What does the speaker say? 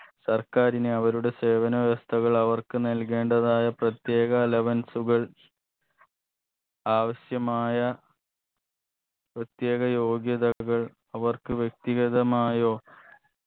സർക്കാരിന് അവരുടെ സേവന വ്യവസ്ഥകൾ അവർക്ക് നൽകേണ്ടതായ പ്രത്യേക allowance കൾ ആവശ്യമായ പ്രത്യേക യോഗ്യതകൾ അവർക്ക് വ്യക്തിഗതമായോ